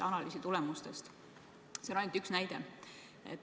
See on ainult üks näide.